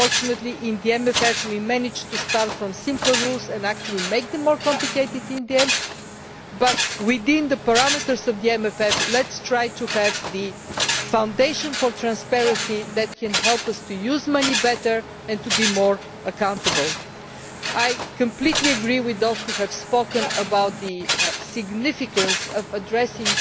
Unfortunately, in the MFF we managed to start from simpler rules and actually make them more complicated in the end but, within the parameters of the MFF, let us try to have the foundation for transparency that can help us to use money better and to be more accountable. I completely agree with those who have spoken about the significance of also addressing